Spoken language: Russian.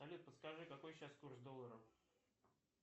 салют подскажи какой сейчас курс доллара